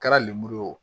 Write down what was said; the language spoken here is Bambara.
Kɛra lemuru ye o